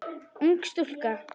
Ung stúlka.